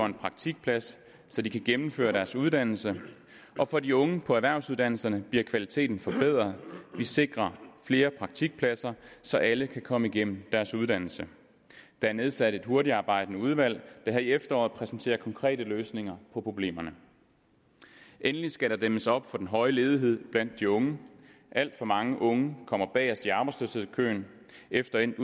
en praktikplads så de kan gennemføre deres uddannelse og for de unge på erhvervsuddannelserne bliver kvaliteten forbedret vi sikrer flere praktikpladser så alle kan komme igennem deres uddannelse der er nedsat et hurtigtarbejdende udvalg der her i efteråret præsenterer konkrete løsninger på problemerne endelig skal der dæmmes op for den høje ledighed blandt de unge alt for mange unge kommer bagest i arbejdsløshedskøen efter endt